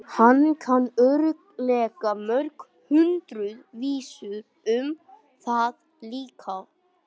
Hann kann örugglega mörg hundruð vísur um þá líka.